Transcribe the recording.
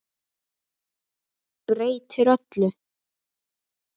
Breytir öllu.